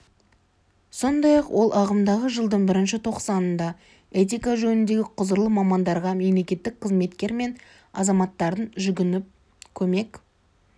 сондай-ақ ол ағымдағы жылдың бірінші тоқсанында этика жөніндегі құзырлы мамандарға мемлекеттік қызметкер мен азаматтардың жүгініп көмек